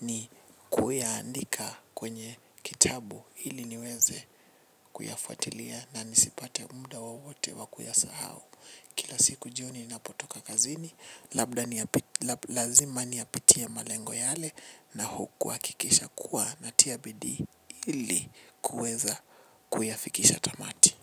ni kuiandika kwenye kitabu ili niweze kuyafuatilia na nisipate mda wowoote wa kuya sahau. Kila siku juu ninapotoka kazini labda niyap lab lazima niyapitie malengo yale nahu kuhakikisha kuwa natia bidii ili kuweza kuyafikisha tamati.